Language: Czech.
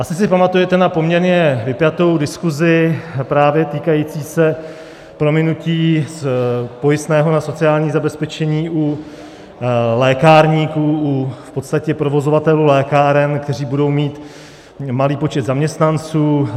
Asi si pamatujete na poměrně vypjatou diskusi právě týkající se prominutí pojistného na sociální zabezpečení u lékárníků, v podstatě u provozovatelů lékáren, kteří budou mít malý počet zaměstnanců.